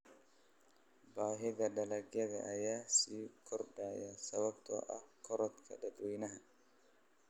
Baahida dalagyada ayaa sii kordhaya sababtoo ah korodhka dadweynaha.